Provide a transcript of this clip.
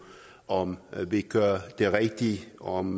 om vi gør det rigtige om